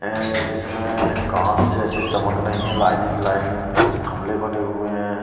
ऐं जिसमें कांच जैसी चमक रही है लाइनिंग लाइनिंग कुछ थमले बने हुए हैं।